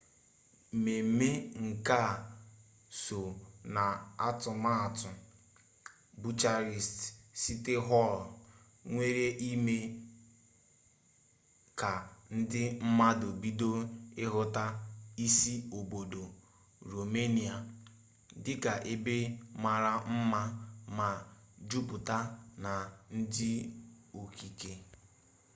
mmemme nka a so n'atụmatụ bucharest siti họl nwere ime ka ndi mmadụ bido ịhụta isi obodo romenia dịka ebe mara mma ma juputa na ndi okike